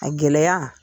A gɛlɛya